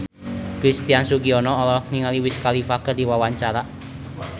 Christian Sugiono olohok ningali Wiz Khalifa keur diwawancara